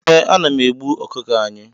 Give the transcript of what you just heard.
eeh, ana m egbu ọkụkọ anyị